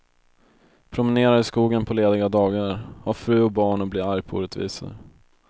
Promenerar i skogen på lediga dagar, har fru och barn och blir arg på orättvisor.